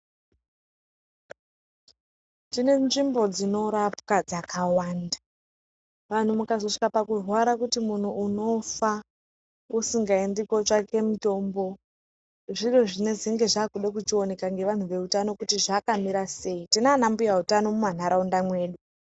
Tine nzvimbo dzinorapwa dzakawanda. Vanhu mukazosvika pakurwara kuti munhu unofa usingaendi kotsvake mitombo, zviro zvinozenge zvakude kuchioneka ngevanhu veutano kuti zvakamira sei. Tinana mbuya utano mumanharaunda mwedu.